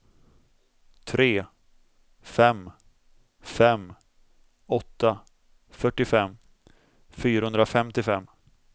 tre fem fem åtta fyrtiofem fyrahundrafemtiofem